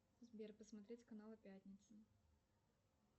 сбер посмотреть каналы пятница